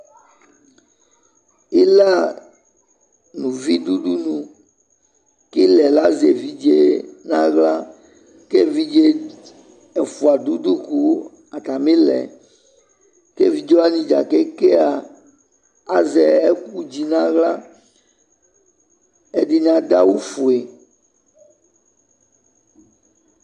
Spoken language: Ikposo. ila nʋ ʋvi dʋ ʋdʋnʋ kʋ ilaɛ azɛ ɛvidzɛ nʋ ala kʋ ɛvidzɛ ɛƒʋa dʋ ʋdʋ kʋ atami ilaɛ kʋ ɛvidzɛ wani kèkè aa azɛ ɛkʋdzi nʋ ala, ɛdini adʋ awʋ ƒʋɛ